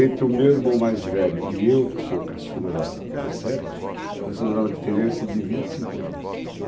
Entre o meu irmão mais velho e eu, que sou caçula da dos sete, nós temos uma diferença de vinte e cinco anos.